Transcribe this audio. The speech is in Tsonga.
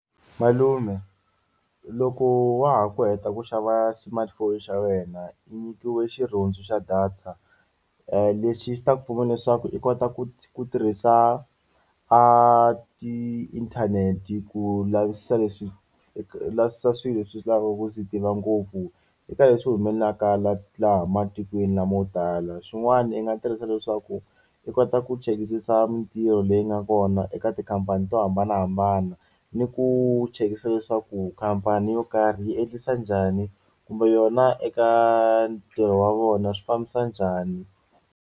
Malume loko wa ha ku heta ku xava smartphone xa wena i nyikiwe xirhundzu xa data lexi xi ta ku pfuna leswaku i kota ku ku tirhisa a tiinthanete ku lavisisa leswi ku lavisisa swilo leswi swi lavaka ku swi tiva ngopfu eka leswi humelelaka laha laha matikweni lamo tala, swin'wana i nga tirhisa leswaku i kota ku mintirho leyi nga kona eka tikhampani to hambanahambana ni ku chekisisa leswaku khampani yo karhi yi endlisa njhani kumbe yona eka ntirho wa vona swi fambisa njhani.